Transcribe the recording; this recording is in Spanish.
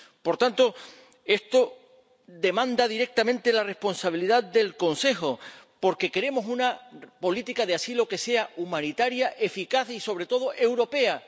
Por tanto, esto demanda directamente la responsabilidad del Consejo, porque queremos una política de asilo que sea humanitaria, eficaz y, sobre todo, europea.